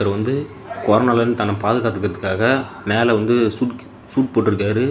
இவர் வந்து கொரோனால இருந்து தன்ன பாதுகாத்துக்கதற்காக மேல வந்து சூட் சூட் போட்டு இருக்காரு.